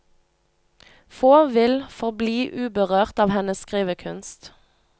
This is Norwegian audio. Få vil forbli uberørt av hennes skrivekunst.